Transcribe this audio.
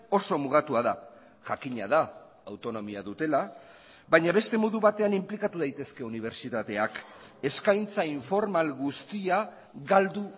oso mugatua da jakina da autonomia dutela baina beste modu batean inplikatu daitezke unibertsitateak eskaintza informal guztia galdu